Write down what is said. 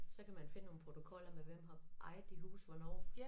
Så kan man finde nogle protokoller med hvem har ejet de huse hvornår